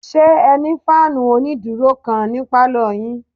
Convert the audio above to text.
Ṣé ẹ ní fáànù onídúró kan ní pálọ̀ yín?